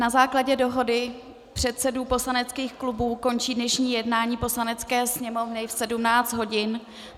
Na základě dohody předsedů poslaneckých klubů končí dnešní jednání Poslanecké sněmovny v 17 hodin.